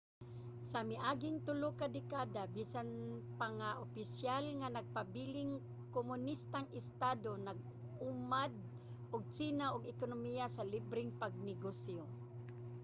sa miaging tulo ka dekada bisan pa nga opisyal nga nagpabiling kumonistang estado nag-ugmad ang tsina og ekonomiya sa libreng pagnegosyo